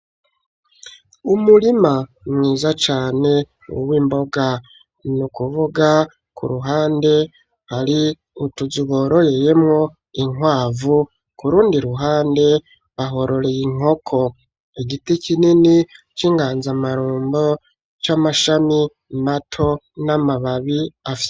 Umurima mwiza cane w'imboga, n'ukuvuga ku ruhande hari utuzu bororeyemwo inkwavu, ku rundi ruhande bahororeye inkoko ,igiti kinini c'inganzamarombo c'amashami mato n'amababi.